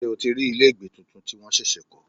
Ṣé o ti rí ilé ìgbé tuntun tí wọ́n ṣẹ̀ṣẹ̀ kọ́?